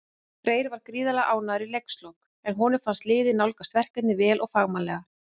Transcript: Freyr var gríðarlega ánægður í leikslok, en honum fannst liðið nálgast verkefnið vel og fagmannlega.